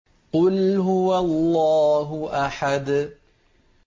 قُلْ هُوَ اللَّهُ أَحَدٌ